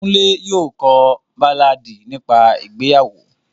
Kunle yóò ko a baláàdi nipa ìgbeyawo.